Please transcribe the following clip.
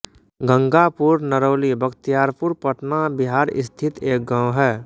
गंगापुरनरौली बख़्तियारपुर पटना बिहार स्थित एक गाँव है